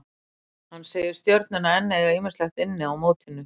Hann segir Stjörnuna enn eiga ýmislegt inni í mótinu.